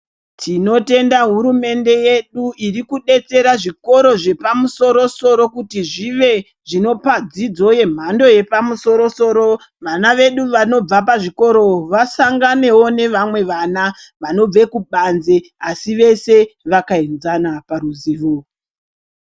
Tinotenda hurumende yedu iri kudetsera zvikoro zvapamusoro-soro kuti zvive zvinopa dzidzo yemhando yepamusoro-soro .Vana vedu vanobva pazvikoro vasanganewo nevamwe vana, vanobve kubanze, asi vese vakaenzana paruzivo.